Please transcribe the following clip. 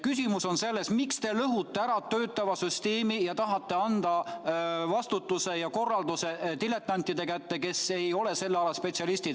Küsimus on selles, miks te lõhute ära töötava süsteemi ja tahate anda vastutuse ja korralduse diletantide kätte, kes ei ole selle ala spetsialistid.